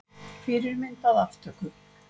Fyrirmynd að aftöku.